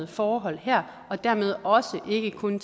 forhold her og dermed ikke kun